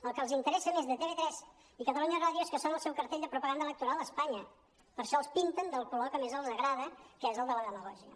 el que els interessa més de tv3 i catalunya ràdio és que són el seu cartell de propaganda electoral a espanya per això els pinten del color que més els agrada que és el de la demagògia